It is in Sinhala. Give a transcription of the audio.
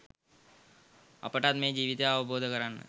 අපටත් මේ ජීවිතය අවබෝධ කරන්න